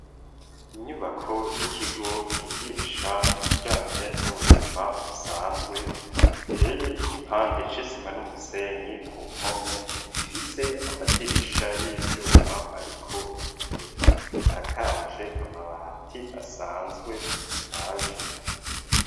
Inyubako y'ikigo bigisha ibijanye n'ubuzima busanzwe iteye igipande c'isima n'umusenyi ku mpome ifise amadirisha y'ivyuma ariko ibiyo, isakaje amabati asanzwe ashaje.